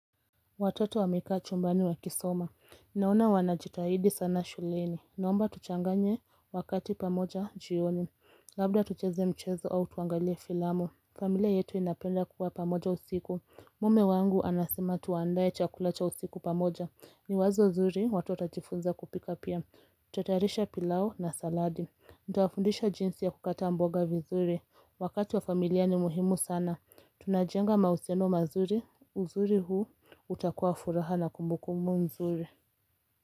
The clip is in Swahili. Watoto wamekaa chumbani wakisoma. Naona wanajitahidi sana shuleni. Naomba tuchanganye wakati pamoja jioni. Labda tucheze mchezo au tuangalie filamu. Familia yetu inapenda kuwa pamoja usiku. Mume wangu anasema tuandaye chakula cha usiku pamoja. Ni wazo nzuri watoto watajifunza kupika pia. Tuta tayarisha pilau na saladi. Nitawafundisha jinsi ya kukata mboga vizuri. Wakati wa familia ni muhimu sana. Tunajenga mahusiano mazuri. Uzuri huu utakuwa furaha na kumbu kumbu nzuri.